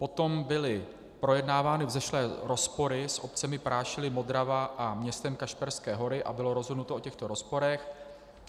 Potom byly projednávány vzešlé rozpory s obcemi Prášily, Modrava a městem Kašperské Hory a bylo rozhodnuto o těchto rozporech.